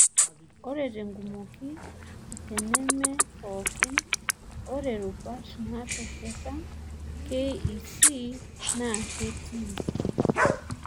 Ore tenkumoki, teneme pookin, ore rubat naatesheta KEC naa keetii.